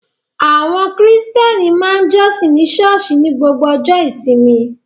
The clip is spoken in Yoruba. Àwọn Krìstẹ́nì ma ń jọ́sìn ní ṣọ́ọ̀ṣì ní gbogbo ọjọ́ ìsinmi